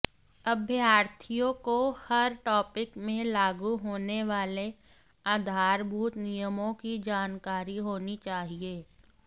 अभ्यर्थियों को हर टॉपिक में लागू होने वाले आधारभूत नियमों की जानकारी होनी चाहिए